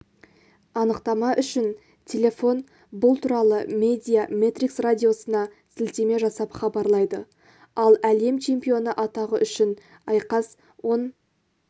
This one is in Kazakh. анықтама үшін телефон бұл туралы медиа метрикс радиосына сілтеме жасап хабарлайды ал әлем чемпионы атағы үшін айқас он